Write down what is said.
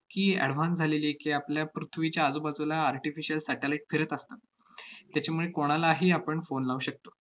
की advanced झालेली आहे की, आपल्या पृथ्वीच्या आजूबाजूला artificial satellite फिरत असतात. त्याच्यामुळे कोणालाही आपण phone लावू शकतो.